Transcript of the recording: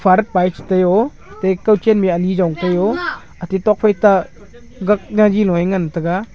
father pa chi tai u te kaw chen ani jong te u ate tokphai ta gag jaji low a ngan taiga.